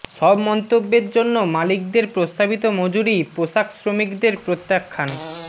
সব মন্তব্যের জন্য মালিকদের প্রস্তাবিত মজুরি পোশাক শ্রমিকদের প্রত্যাখান